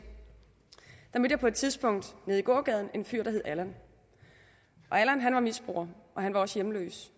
mødte jeg på et tidspunkt nede i gågaden en fyr der hed allan allan var misbruger og han var også hjemløs